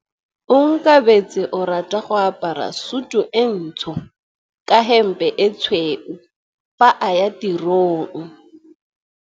Onkabetse o rata go apara sutu e ntsho ka hempe e tshweu fa a ya tirong.